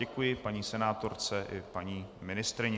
Děkuji paní senátorce i paní ministryni.